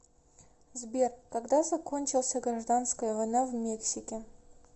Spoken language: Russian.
сбер когда закончился гражданская война в мексике